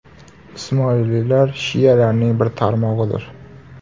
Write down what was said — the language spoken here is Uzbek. Ismoiliylar shialarning bir tarmog‘idir.